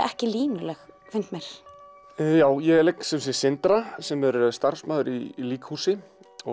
ekki línuleg finnst mér ég leik Sindra sem er starfsmaður í líkhúsi